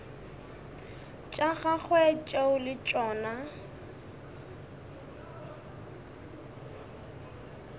tša gagwe tšeo le tšona